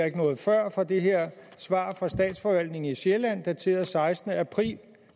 ikke nåede før fra det her svar fra statsforvaltningen sjælland dateret sekstende april